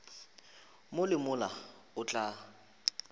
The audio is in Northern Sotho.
mo le mola o tla